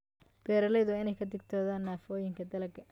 Beeralayda waa in ay ka digtoonaadaan nafaqooyinka dalagga.